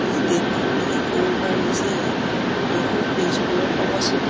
এই গেট খন দেখি ক'ব পাৰি যে এইখন তেজপুৰত অৱস্থিত।